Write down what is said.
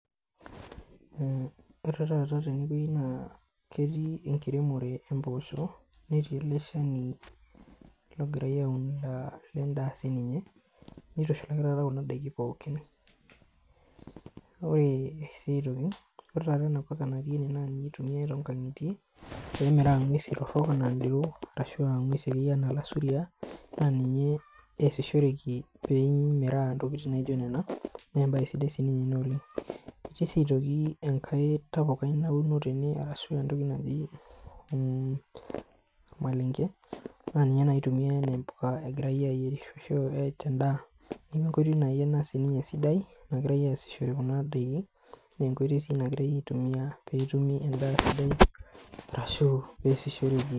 Ore taata tene wuei naa ketii enkiremore e mboosho netii ele shani logirai aaun lendaa siininye nirushulaki taata kuna daiki pookin. Ore sii aitoki, ore taata ena poka natii ene naa ninye eitumiai toonkang'itie pee emiraa ng'wesi torrok ashu akeyie ng'wesi enaa ilasuria ninye eesishoreki peemiraa intokiting' naijo nena naa embae sidai siininye ina oleng'. Etii sii aitoki enkae tapukai nauno tene ashu entoki naji ormailenge naa ninye eitumia enaa mboka egirai ayierisho te ndaa. Neeku enkoitoi naai siininye ena sidai nagirai aasishore kuna daiki naa enkoitoi sii nagirai aitumia peetumi endaa sidai ashu peesishoreki